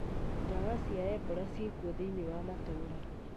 Ndawa cia ebora ciĩkwo thĩ-inĩ wa matũra